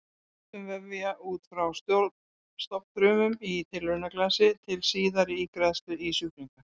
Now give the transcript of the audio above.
Ræktun vefja út frá stofnfrumum í tilraunaglasi til síðari ígræðslu í sjúklinga.